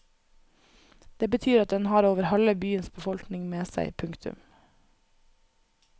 Det betyr at den har over halve byens befolkning med seg. punktum